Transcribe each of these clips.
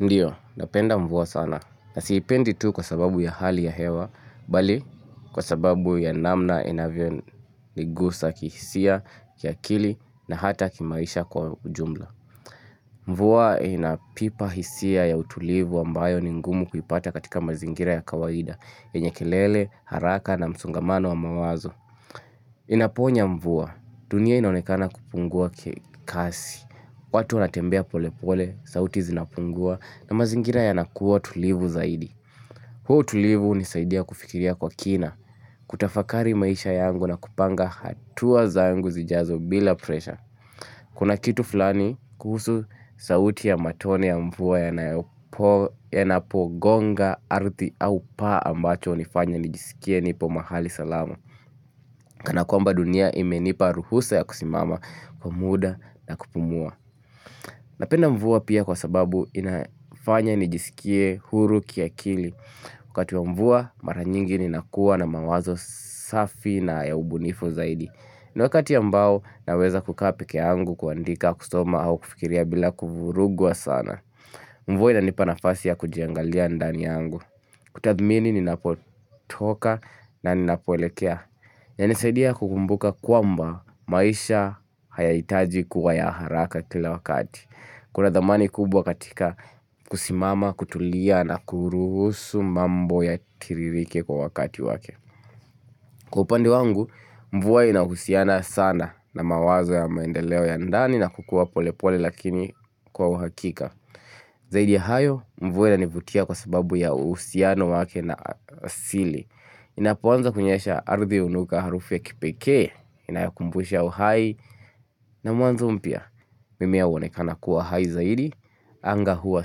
Ndiyo, napenda mvua sana na siipendi tu kwa sababu ya hali ya hewa, bali kwa sababu ya namna inavyo nigusa kihisia, kia akili na hata kimaisha kwa ujumla. Mvua inapipa hisia ya utulivu ambayo ningumu kuipata katika mazingira ya kawaida, enyekelele, haraka na msongamano wa mawazo. Inaponya mvua, dunia inaonekana kupungua kasi. Watu wanatembea pole pole, sauti zinapungua na mazingina yanakuwa tulivu zaidi. Huo utulivu hunisaidia kufikiria kwa kina, kutafakari maisha yangu na kupanga hatua zangu zijazo bila presha. Kuna kitu fulani kuhusu sauti ya matone ya mvua yanapogonga ardhi au paa ambacho hunifanya nijisikie nipo mahali salamu. Kana kwa mba dunia imenipa ruhusa ya kusimama kwa muda na kupumua Napenda mvua pia kwa sababu inafanya nijisikie huru kia kili Kwa kati wa mvua mara nyingi ninakuwa na mawazo safi na yaubunifu zaidiIniwakati ambao naweza kukapikee yangu kuandika kusoma au kufikiria bila kuvuruguwa sana Mvua inanipa nipanafasi ya kujiangalia ndani angu kutathmini ninapotoka na ninapoelekea ya nisaidia kukumbuka kwamba maisha haya itaji kuwa ya haraka kila wakati Kuna thamani kubwa katika kusimama, kutulia na kurusu mambo ya tiririke kwa wakati wake Kupande wangu, mvua inahusiana sana na mawazo ya maendeleo ya ndani na kukua pole pole lakini kwa wahakika Zaidi ya hayo, mvua na inanivutia kwa sababu ya uhusiano wake na asili Inapoanza kunyesha ardhi hunuka harufi ya kipekee Inayakumbusha uhai na mwanzo mpya mimea huonekana kuwa hai zaidi Anga hua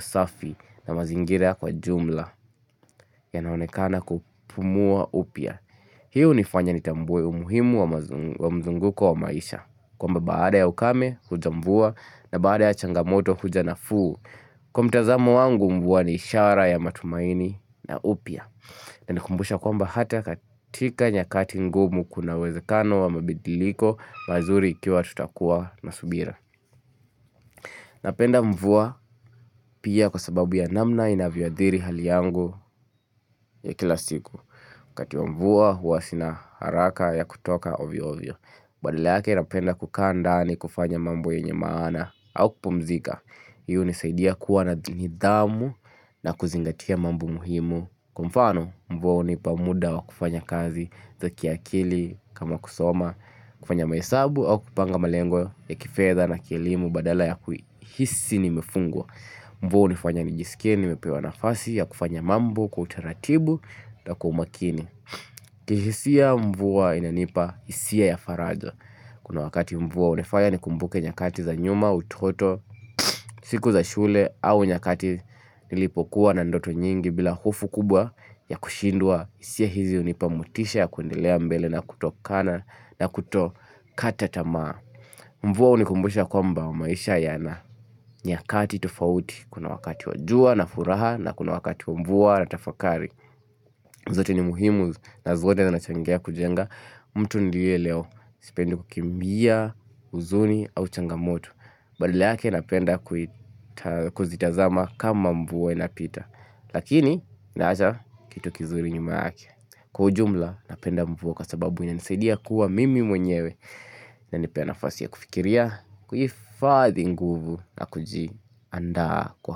safi na mazingira kwa jumla yanaonekana kupumua upya Hii hunifanya nitambuwe umuhimu wa mzunguko wa maisha kwamba baada ya ukame hujambua na baada ya changamoto hujanafu Kwa mtazamo wangu mvua ni ishara ya matumaini na upya na nikumbusha kwamba hata katika nyakati ngumu kunawezekano wa mabidiliko mazuri ikiwa tutakuwa na subira. Napenda mvua pia kwa sababu ya namna inavyoathiri hali yangu ya kila siku. Wakati wa mvua huwasina haraka ya kutoka ovyo-ovyo. Badala yake napenda kukandaani kufanya mambo yenye maana au kupumzika. Hii hunisaidia kuwa na nidhamu na kuzingatia mambo muhimu. Kwa mfano mvua hunipa muda wa kufanya kazi za kiakili kama kusoma, kufanya mahesabu au kupanga malengo ya kifedha na kielimu badala ya kuhisi ni mefungwa. Mvua hunifanya nijisikia ni mepewa nafasi ya kufanya mambo, kutaratibu na kwa umakini. Kihisia mvua inanipahisia ya faraja. Kuna wakati mvua unefanya ni kumbuke nyakati za nyuma, utoto, siku za shule au nyakati nilipokuwa na ndoto nyingi bila hofu kubwa ya kushindwa. Hisia hizi hunipamotisha ya kuendilea mbele na kutokana na kutokata maa. Mvua hunikumbusha kwamba wa maisha ya na nyakati tofauti. Kuna wakati wajua na furaha na kuna wakati mvua na tafakari. Zote ni muhimu na zote na nachangea kujenga mtu ndiye leo Sipendi kukimbia, huzuni, au changamoto Badala yake napenda kuzitazama kama mvu inapita Lakini, naacha kitu kizuri nyuma yake Kwa jumla, napenda mvua kwa sababu ina nisidia kuwa mimi mwenyewe na nipena fasia kufikiria kuhifadhi nguvu na kujiandaa kwa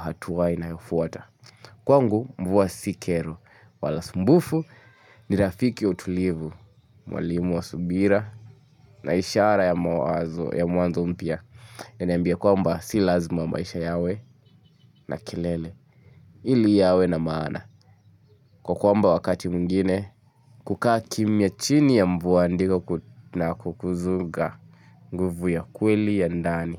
hatuwa inayofuata Kwa ngu mbuwa sikero wala sumbufu ni rafiki utulivu mwalimu wa subira na ishara ya mwazo ya mwazo mpya ya nembia kwamba si lazima maisha yawe na eilele ili yawe na maana kwa kwamba wakati mwingine kukaa kimia chini ya mvua ndiko na kukuzuga nguvu ya kweli ya ndani.